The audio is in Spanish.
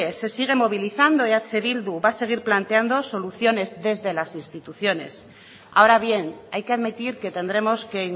se sigue movilizando eh bildu va a seguir planteando soluciones desde las instituciones ahora bien hay que admitir que tendremos que